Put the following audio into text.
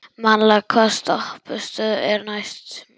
Malla, hvaða stoppistöð er næst mér?